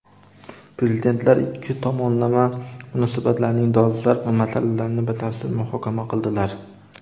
Prezidentlar ikki tomonlama munosabatlarning dolzarb masalalarini batafsil muhokama qildilar.